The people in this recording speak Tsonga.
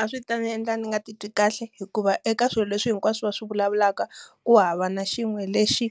A swi ta ndzi endla ndzi nga titwi kahle. Hikuva eka swilo leswi hinkwaswo swi vulavulaka, ku hava na xin'we lexi